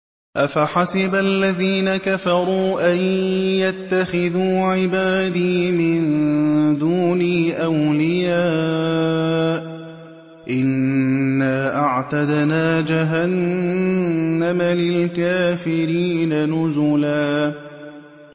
أَفَحَسِبَ الَّذِينَ كَفَرُوا أَن يَتَّخِذُوا عِبَادِي مِن دُونِي أَوْلِيَاءَ ۚ إِنَّا أَعْتَدْنَا جَهَنَّمَ لِلْكَافِرِينَ نُزُلًا